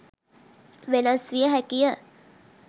වෙනස් වියහැකිය.